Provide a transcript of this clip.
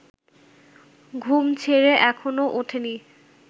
ঘুম ছেড়ে এখনো ওঠিনি